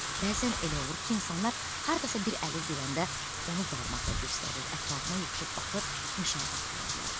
Bəzən elə olur ki, insanlar hardasa bir əlil görəndə onu barmaqla göstərir, ətrafına yığışıb baxır, müşahidə aparırlar.